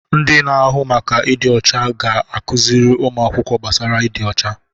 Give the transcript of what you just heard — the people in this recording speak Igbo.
Ndị na-ahụ maka ịdị ọcha ga-akụziri ụmụ akwụkwọ gbasara ịdị ọcha.